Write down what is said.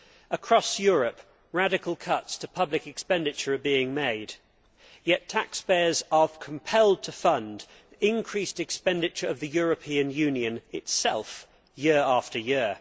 Across Europe, radical cuts to public expenditure are being made, yet taxpayers are compelled to fund the increased expenditure of the European Union itself, year after year.